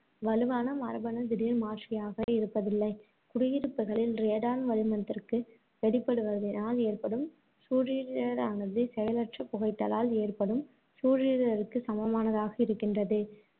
வலுவான மரபணு திடீர்மாற்றியாக இருப்பதில்லை. குடியிருப்புகளில் ரேடான் வளிமத்திற்கு வெளிப்படுவதனால் ஏற்படும் சூழிடரானது செயலற்ற புகைத்தலால் ஏற்படும் சூழிடருக்குச் சமமானதாக இருக்கின்றது